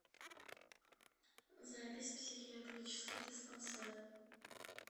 запись психиатрический диспансер